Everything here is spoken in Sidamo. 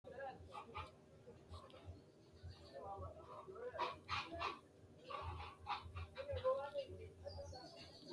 maa xawissanno aliidi misile ? hiitto akati woy kuuli noose yaa dandiinanni tenne misilera? qooxeessisera noori maati ? kuri maa assinanni uduunneeti mama horoonsi'nanni